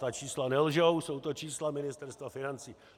Ta čísla nelžou, jsou to čísla Ministerstva financí.